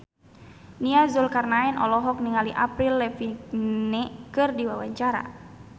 Nia Zulkarnaen olohok ningali Avril Lavigne keur diwawancara